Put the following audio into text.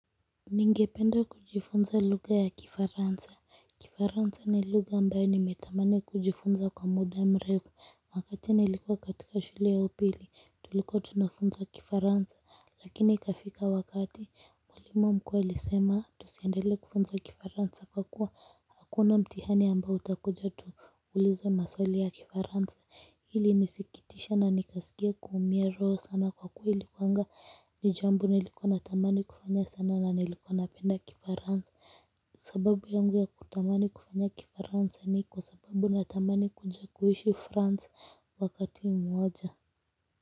Ningependa kujifunza lugha ya Kifaransa Kifaransa ni lugha ambayo nimetamani kujifunza kwa muda mrefu wakati nilikuwa katika shule ya upili tulikuwa tunafunzawa Kifaransa lakini ikafika wakati mwalimu mkuu alisema tusiendele kufunzwa Kifaransa kwa kuwa hakuna mtihani ambayo utakuja tu ulizwe maswali ya Kifaransa ili nisikitisha na nikasikia kuumia roho sana kwa kuwa ilikuwanga ni jambo nilikuwa natamani kufanya sana na nilikuwa napenda Kifaransa sababu yangu ya kutamani kufanya Kifaransa ni kwa sababu na tamani kuja kuishi france wakati mmoja.